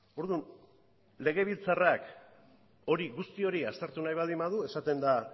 orduan legebiltzarrak guzti hori aztertu nahi baldin badu esaten da